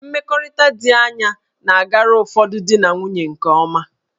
Mmekọrịta dị anya na-agara ụfọdụ di na nwunye nke ọma